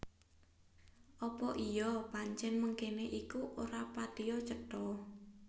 Apa iya pancèn mengkéné iku ora patiya cetha